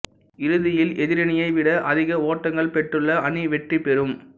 இறுதியில் எதிரணியை விட அதிக ஓட்டங்கள் பெற்றுள்ள அணி வெற்றி பெறும்